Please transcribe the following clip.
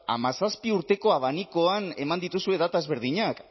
hamazazpi urteko abanikoan eman dituzue data ezberdinak